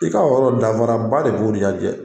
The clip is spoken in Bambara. I ka o yɔrɔ dafara ba de b'o ni ɲɔgɔn cɛ.